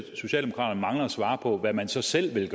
socialdemokraterne mangler at svare på hvad man så selv